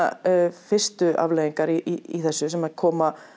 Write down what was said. fyrstu afleiðingarnar í þessu sem að koma